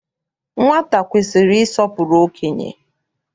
Nwata kwesiri ịsọpụrụ okenye.